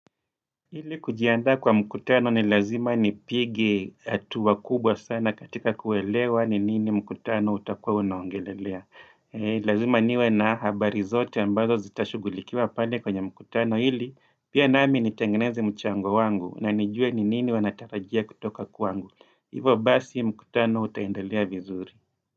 Ili kujiandaa kwa mkutano ni lazima nipige hatua kubwa sana katika kuelewa ni nini mkutano utakua unaongelelea. Lazima niwe na habari zote ambazo zitashugulikiwa pale kwenye mkutano ili pia nami nitengeneze mchango wangu na nijue ni nini wanatarajia kutoka kwa wangu. Hivyo basi mkutano utaendelea vizuri.